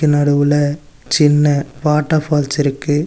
நடுவுல சின்ன water falls இருக்கு.